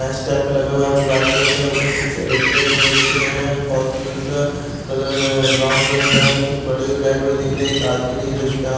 best type का लगा हुआ है जो वाइट कलर का ऊपर कुछ एल_इ_डी लाइट वाला दिख रहे हैं फॉल सीलिंग का कलर ब्राउन कलर का है कुछ बड़े भी लाइट दिख रहे एक आदमी दिख रहे इसका--